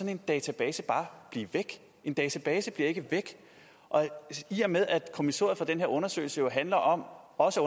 en database bare blive væk en database bliver ikke væk i og med at kommissoriet for den her undersøgelse handler om også